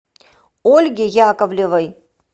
ольге яковлевой